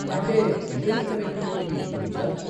అంటే internet connectivity గురించా?